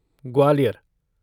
Gwalior